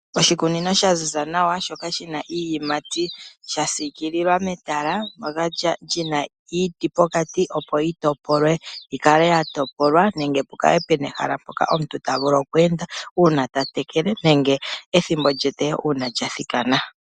Oshikunino shaziza nawa shoka shina iiyimati sha sikililwa metala lyina iiti pokati opo yitopolwe yikale yatopolwa nenge pukale puna ehala mpoka omuntu ta vulu okwe enda una ta tekele nenge una ethimbo lyetewo lyathikana.